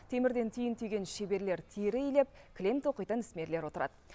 темірден түйін түйген шеберлер тері илеп кілем тоқитын ісмерлер отырады